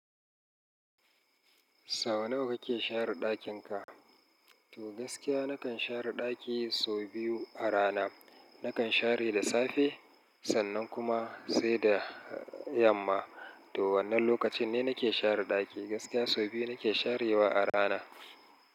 Sau nawa kake share ɗakin ka? To gaskiya nakan share ɗaki sau biyu a rana. Nakan share da safe sannan kuma sai da yamma. Toh wannan lokacin ne nake share ɗaki? Gaskiya sau biyu nake sharewa a rana.